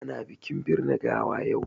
Ana bikin birne gawa yau.